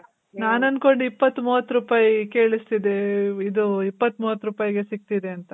ನಾನ್ ಅನ್ಕೊಂಡೆ ಇಪ್ಪತ್ತ್ ಮೂವತ್ ರೂಪಾಯ್ ಕೇಳಿಸ್ತಿದೆ. ಇದು ಇಪ್ಪತ್ತ್ ಮೂವತ್ ರೂಪಾಯ್ ಗೆ ಸಿಗ್ತಿದೆ ಅಂತ.